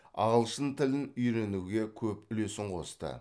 ағылшын тілін үйреніге көп үлесін қосты